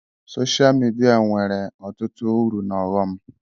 Sosha midia nwere ọtụtụ uru na ọghọm